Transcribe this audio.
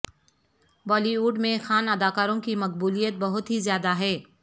بالی would میں خان اداکاروں کی مقبولیت بہت ہی زیادہ ہے